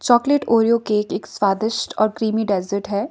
Chocolate Oreo cake एक स्वादिष्ट और क्रीमी डेजर्ट हैं।